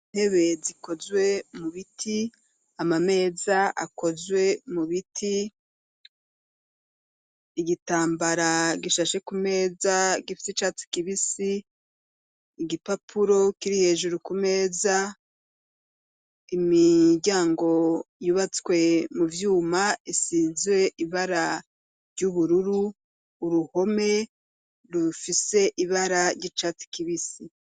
Intebe zikozwe mu biti, amameza akozwe mu biti, igitambara gishashe ku meza gifise urwatsi rubisi, igipapuro kiri hejuru ku meza, imiryango yubatswe mu vyuma isizwe ibara ry'ubururu, uruhome rufise ibara ry'icatsi kibisi.